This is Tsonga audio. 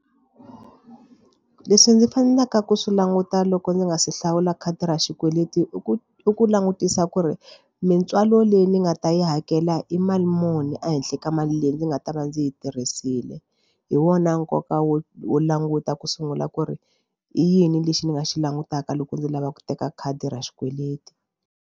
Leswi ni faneleke ku swi languta loko ndzi nga se hlawula khadi ra xikweleti i ku i ku langutisa ku ri mitswalo leyi ni nga ta yi hakela i mali muni ehenhla ka mali leyi ndzi nga ta va ndzi yi tirhisile hi wona nkoka wo wo languta ku sungula ku ri i yini lexi ni nga xi langutaka loko ndzi lava ku teka khadi ra xikweleti.